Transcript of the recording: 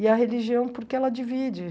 E a religião, porque ela divide.